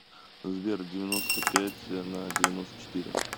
сбер девяносто пять на девяносто четыре